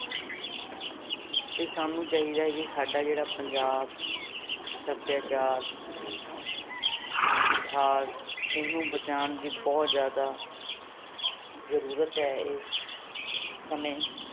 ਤੇ ਸਾਨੂੰ ਚਾਹੀਦਾ ਹੈ ਵੀ ਸਾਡਾ ਜਿਹੜਾ ਪੰਜਾਬ ਸਭਿਆਚਾਰ ਇਤਿਹਾਸ ਇਹਨੂੰ ਬਚਾਉਣ ਦੀ ਬਹੁਤ ਜ਼ਿਆਦਾ ਜ਼ਰੂਰਤ ਹੈ ਇਸ ਸਮੇਂ